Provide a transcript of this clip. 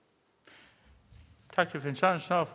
og